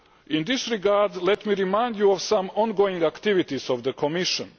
In this regard, let me remind you of some ongoing activities of the Commission.